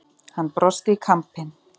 Hann brosti í kampinn.